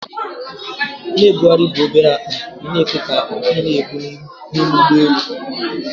Na-ebugharị bụ obere akpa ị na-ekwe ka ị na-ebu n'ime ụgbọelu